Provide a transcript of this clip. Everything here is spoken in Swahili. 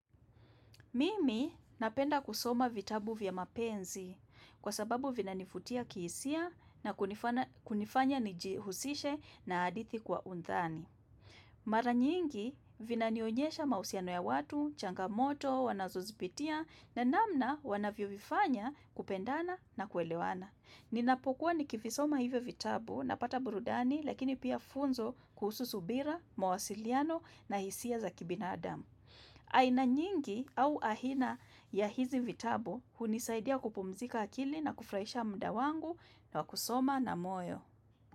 Mimi napenda kusoma vitabu vya mapenzi kwa sababu vinanivutia kihisia na kunifanya nijihusishe na hadithi kwa undani. Mara nyingi vinanionyesha mausiano ya watu, changamoto, wanazozipitia na namna wanavyovifanya kupendana na kuelewana. Ninapokuwa nikivisoma hivyo vitabu na pata burudani lakini pia funzo kuhusu subira, mawasiliano na hisia za kibinadamu. Aina nyingi au aina ya hizi vitabo hunisaidia kupumzika akili na kufurahisha muda wangu na wa kusoma na moyo.